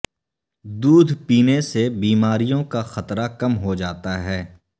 دودھ پینے سے بیماریوں کا خطرہ کم ہوجاتا ہے